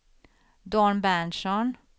Dan Berntsson